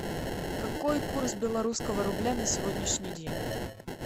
какой курс белорусского рубля на сегодняшний день